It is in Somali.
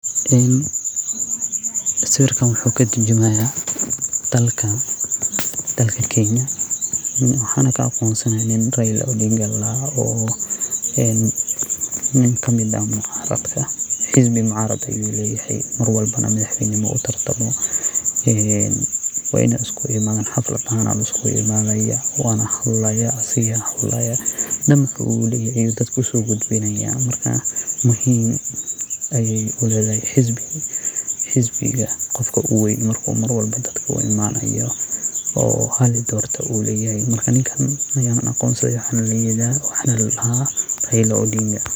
En sawirkan wxu katurjumaya dalkan Kenyan mxana kaaqonsanaya nin Raila odinga ladaha oo nin kamid ah xispi macarad ayu leyahay marwalbonah madax weyna ayu udartama ee wayna iskuimadan xaflad ahan iskuguinaya wana hadlaya asaga wali hadlaya ninba wali ninbu wali dadka usogudbinaya ,marka muhim ayay uledahay xispiga qofka u wen marku dadka u imanayo oo halidorto uleyahay marka ninka aqonsi uleyaha mxa na ladaha Raila Odinga